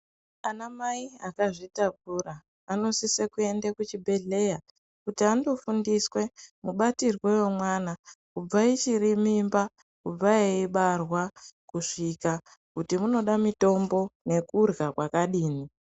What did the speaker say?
Ana mai akazvitakura anosise kuende kucvibhedhlera kuti andofundiswe mubatirwe wemwana kubva ichiri mimba kubva eibarwa kusvika kuti unoda mitombo nekurya kwakadini.